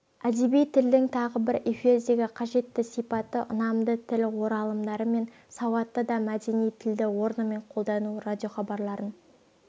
әдеби тілдің тағы бір эфирдегі қажетті сипаты ұнамды тіл оралымдары мен сауатты да мәдени тілді орнымен қолдану радиохабарларын